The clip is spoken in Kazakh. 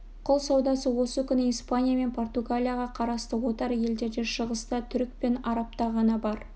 құл саудасы осы күні испания мен португалияға қарасты отар елдерде шығыста түрік пен арапта ғана бар